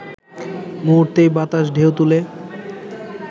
মুহূর্তেই বাতাসে ঢেউ তুলে